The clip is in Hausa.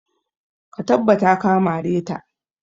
Ka tabbata ka mare ta!